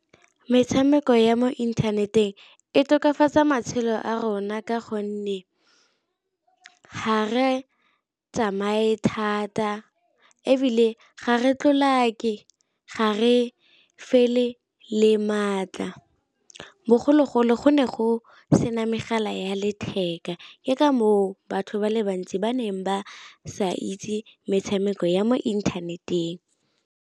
Metshameko ya mo inthaneteng e tokafatsa matshelo a rona ka gonne ga re tsamaye thata, ebile ga re tlolake, ga re fele le maatla. Bogologolo go ne go sena megala ya letheka ke ka moo batho ba le bantsi ba neng ba sa itse metshameko ya mo inthaneteng.